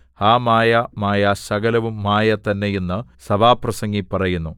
ഹാ മായ മായ സകലവും മായ തന്നെ എന്ന് സഭാപ്രസംഗി പറയുന്നു